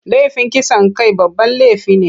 Laifin kisan kai babban laifi ne.